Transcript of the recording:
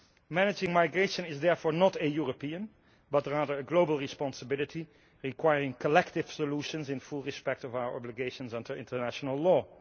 Managing migration is therefore not a European but rather a global responsibility, requiring collective solutions in full respect of our obligations under international law.